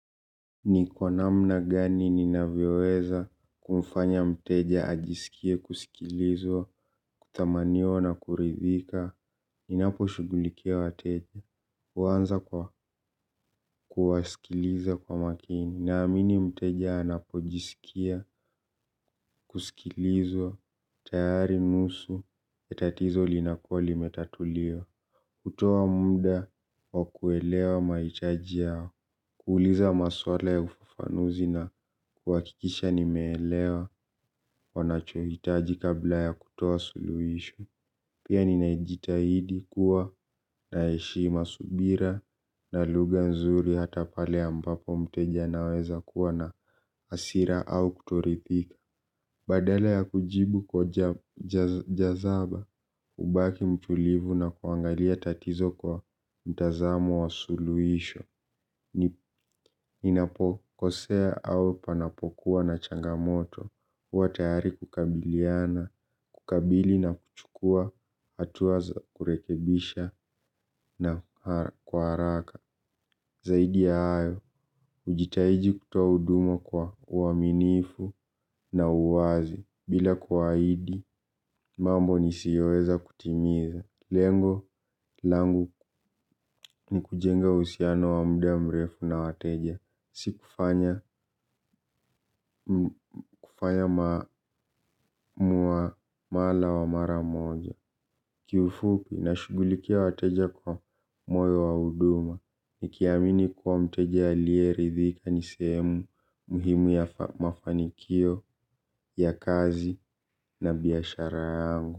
Ni kwa namna gani ninavyoweza kumfanya mteja ajisikie kusikilizwa kuthamaniwa na kuridhika. Ninaposhugulikia wateja huanza kwa kuwasikiliza kwa makini. Naamini mteja anapojisikia kusikilizwa tayari nusu ya tatizo linakuwa limetatuliwa. Kutoa muda wa kuelewa mahitaji yao kuuliza maswala ya ufafanuzi na kuhakikisha nimeelewa wanachohitaji kabla ya kutoa suluhisho. Pia ninajitahidi kuwa na heshima subira na lugha nzuri hata pale ambapo mteja anaweza kuwa na hasira au kutoridhika. Badala ya kujibu kwa jazaba, hubaki mtulivu na kuangalia tatizo kwa mtazamo wa suluhisho. Ninapokosea au panapokuwa na changamoto, huwa tayari kukabiliana, kukabili na kuchukua, hatua za kurekebisha na kwa haraka. Zaidi ya hayo, hujitahidi kutoa huduma kwa uaminifu na uwazi bila kuwaahidi, mambo nisiyoweza kutimiza. Lengo langu ni kujenga uhusiano wa muda mrefu na wateja si kufanya mwamala wa mara moja. Kiufupi nashughulikia wateja kwa moyo wa huduma nikiamini kuwa mteja aliyeridhika ni sehemu muhimu ya mafanikio ya kazi na biashara yangu.